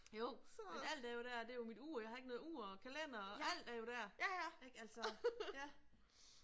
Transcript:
Jo men alt er jo der det jo mit ur jeg har ikke noget ur og kalender og alt er jo der ik altså ja